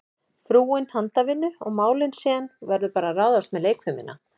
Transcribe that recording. Frúin handavinnu og málin, síðan verður bara að ráðast með leikfimina.